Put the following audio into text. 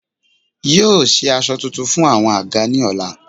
Yóò se aṣọ tuntun fún àwọn àga ni ọ̀la